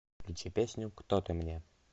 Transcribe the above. включи песню кто ты мне